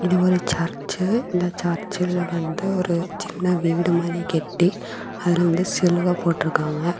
இது ஒரு சர்ச்சு இந்த சர்ச்சில் வந்து ஒரு சின்ன வீடு மாதி கெட்டி அதுல வந்து சிலுவ போட்டு இருக்காங்க.